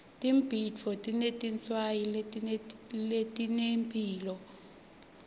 tibhidvo tinetinswayi letinemphilo